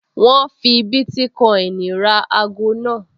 Wọ́n fi bítíkọ́ìnì kan ra ago náà